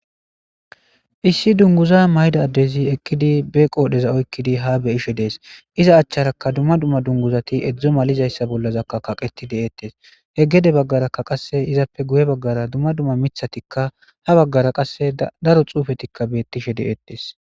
issi dunguza mayda addezi ekkidi be qoodheza oykkidi ha beyishe dees iza achcharaka dumma dumma dunguzati edzdzo malizayssa bollazakka kaqeti deettes he gede baggarakka qasse izappe guye baggara dumma dumma mithatikka ha baggara qasse daro xuufetikka beettishe de7ettes